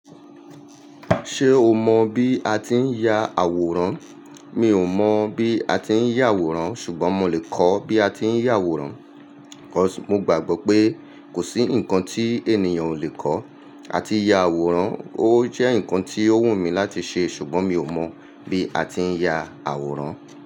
Ṣé o mọ bí a tí ń ya àwòrán? Mi ò mọ̀ bí a tí ń ya àwòrán ṣùgbọ́n mo lè kọ́ bí a tí ń ya àwòrán. Cause, mo gbàgbọ́ pé kò sí ǹkan tí ènìyàn ò lè kọ́. A tí ya àwòrán, ó jẹ́ ǹkan tí ó wù mí láti ṣe ṣùgbọ́n mi ò mọ bí a tí ń ya àwòrán.